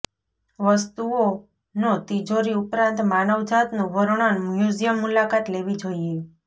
વસ્તુઓનો તિજોરી ઉપરાંત માનવજાતનું વર્ણન મ્યુઝિયમ મુલાકાત લેવી જોઈએ